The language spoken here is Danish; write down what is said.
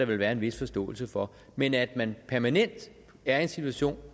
der være en vis forståelse for men at man permanent er i en situation